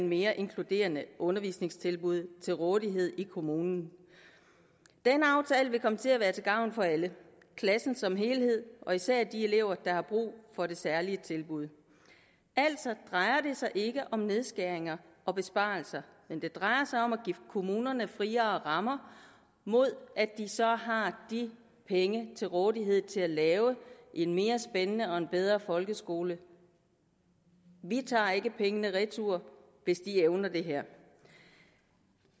mere inkluderende undervisningstilbud til rådighed i kommunen den aftale vil komme til at være til gavn for alle klassen som helhed og især de elever der har brug for de særlige tilbud altså drejer det sig ikke om nedskæringer og besparelser det drejer sig om at give kommunerne friere rammer mod at de så har penge til rådighed til at lave en mere spændende og bedre folkeskole vi tager ikke pengene retur hvis de evner det her